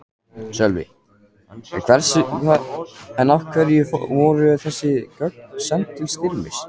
Sölvi: En af hverju voru þessi gögn send til Styrmis?